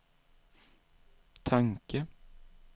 tanke